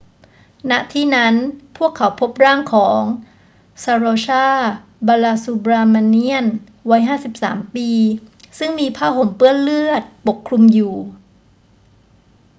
ณ ที่นั้น พวกเขาพบร่างของ saroja balasubramanian วัย 53 ปีซึ่งมีผ้าห่มเปื้อนเลือดปกคลุมอยู่